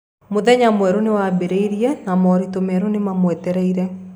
Mũthenya mwerũ nĩ wambĩrĩirie, na moritũ merũ nĩ mamwetereire.